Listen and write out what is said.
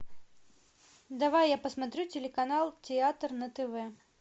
давай я посмотрю телеканал театр на тв